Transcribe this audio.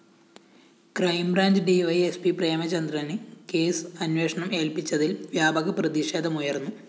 െ്രെകംബ്രാഞ്ച് DYSP പ്രേമചന്ദ്രന് case അന്വേഷണം ഏല്‍പ്പിച്ചതില്‍ വ്യാപക പ്രതിഷേധമുയര്‍ന്നു